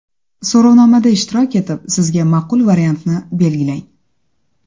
So‘rovnomada ishtirok etib, sizga ma’qul variantni belgilang.